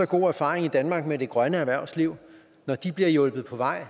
gode erfaringer i danmark med det grønne erhvervsliv når det bliver hjulpet på vej